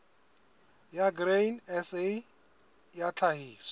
ya grain sa ya tlhahiso